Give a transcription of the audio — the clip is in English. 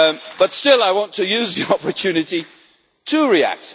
But still, I want to use the opportunity to react.